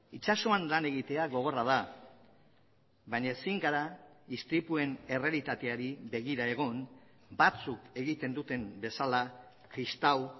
itsasoan lan egitea gogorra da baina ezin gara istripuen errealitateari begira egon batzuk egiten duten bezala kristau